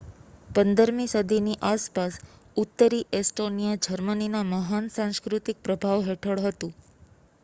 15 મી સદીની આસપાસ, ઉત્તરી એસ્ટોનીયા જર્મનીના મહાન સાંસ્કૃતિક પ્રભાવ હેઠળ હતું